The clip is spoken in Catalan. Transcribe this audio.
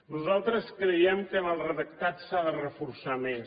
nosaltres creiem que en el redactat s’ha de reforçar més